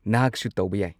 ꯅꯍꯥꯛꯁꯨ ꯇꯧꯕ ꯌꯥꯏ꯫